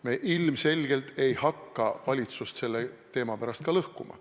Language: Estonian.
Me ilmselgelt ei hakka valitsust selle teema pärast lõhkuma.